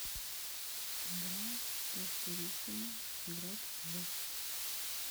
игра тестерисимо играть в